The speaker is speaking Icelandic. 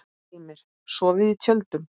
Heimir: Sofið í tjöldum?